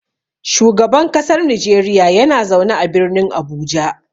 Shugaban kasar Nijeriya yana zaune a Birnin Abuja.